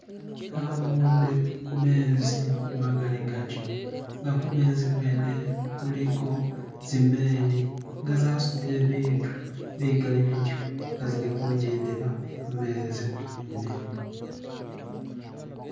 Nabone mezi magaligatyo ne kumezikwene kuliko zimeli nga zasudile bitu bigali bityo nga zili kujendela kumezi kwene